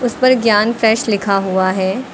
उस पर ज्ञान फ्रेश लिखा हुआ है।